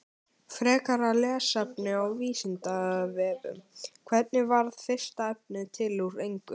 Frekara lesefni á Vísindavefnum: Hvernig varð fyrsta efnið til úr engu?